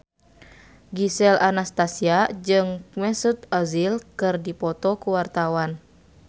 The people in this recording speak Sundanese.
Gisel Anastasia jeung Mesut Ozil keur dipoto ku wartawan